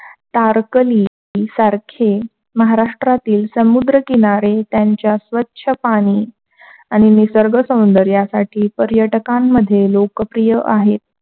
टारकली सारखे महाराष्ट्रातील समुद्रकिनारी त्याच्या स्वच्छ पाणी आणि निसर्ग सौंदर्यासाठी पर्यटकांमधील लोकप्रिय आहेत.